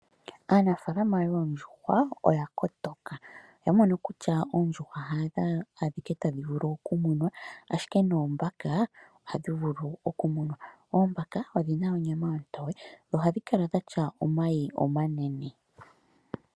Aanafalama yoondjuhwa oya kotoka, oya mono kutya oondjuhwa hadho adhike tadhi vulu okumunwa ashike noombaka ohadhi vulu okumunwa , oombaka odhina onyama ontoye dho ohadhi kala dha tya omayi omanene.